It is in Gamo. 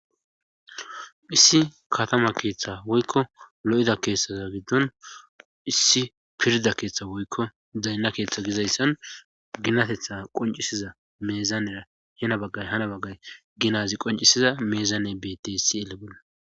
issi katama keeththa woykko lo7ida keetsaza giddon issi pirda keeththa woykko daynna keeththa gizayssan ginatetha qoncisiza meezanera hana baggay hana baggay ginazi qoncisiza meezane beteysi ele bolla